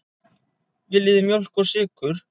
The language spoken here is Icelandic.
Viljið þið mjólk og sykur?